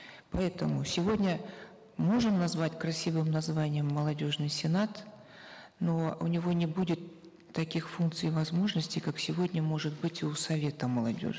поэтому сегодня можем назвать красивым названием молодежный сенат но у него не будет таких функций и возможностей как сегодня может быть у совета молодежи